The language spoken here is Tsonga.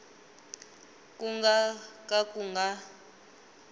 ku nga ka ku nga